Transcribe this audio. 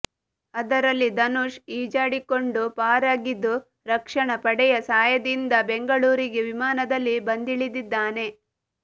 ಅದರಲ್ಲಿ ಧನುಷ್ ಈಜಾಡಿಕೊಂಡು ಪಾರಾಗಿದ್ದು ರಕ್ಷಣ ಪಡೆಯ ಸಹಾಯದಿಂದ ಬೆಂಗಳೂರಿಗೆ ವಿಮಾನದಲ್ಲಿ ಬಂದಿಳಿದಿದ್ದಾನೆ